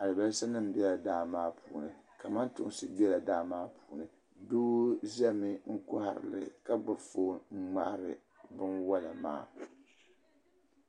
alibasa nim bɛla daa maa puuni kamantosi bɛla daa maa puuni doo zɛmi n kɔhirili ka gbubi foon n ŋmahari bin wola maa.